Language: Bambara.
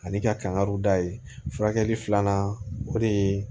Ani ka kan ka da ye furakɛli filanan o de ye